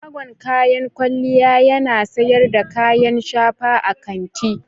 Shagon kayan kwalliya yana sayar da kayan shafa a kanti.